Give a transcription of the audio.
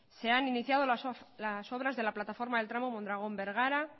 se han iniciado las obras de la plataforma del tramo mondragón bergara